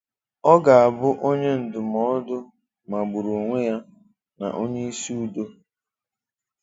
Ọ̀ ga-abụ́ Onye Ndùmọdụ́ magbùrụ́ onwe ya na Onyeisì Udò